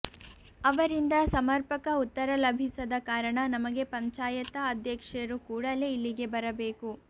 ಅವರಿಂದ ಸಮರ್ಪಕ ಉತ್ತರ ಲಭಿಸದ ಕಾರಣ ನಮಗೆ ಪಂಚಾಯತ ಅಧ್ಯಕ್ಷರು ಕೂಡಲೇ ಇಲ್ಲಿಗೆ ಬರಬೇಕು